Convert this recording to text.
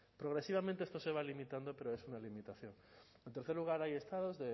progresivamente esto se va limitando pero es una limitación en tercer lugar hay estados